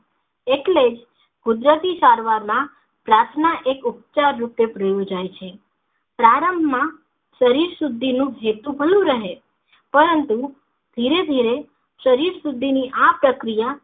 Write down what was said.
એટલે જ કુદરતી સારવાર ના પ્રાર્થના એક ઉપચાર રૂપે પ્રયોજાય છે પ્રારંભ માં શરીર શુદ્ધિ નું જેટલું ઘણું રહે પરંતુ ધીરે ધીરે શરીર શુદ્ધિ ની આ પ્રક્રિયા